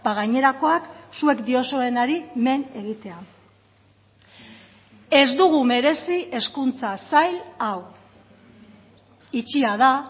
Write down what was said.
gainerakoak zuek diozuenari men egitea ez dugu merezi hezkuntza sail hau itxia da